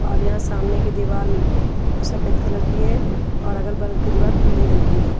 और यहां सामने की दिवार सफेद कलर की है और अगल बगल की दीवार पीली रंग की है।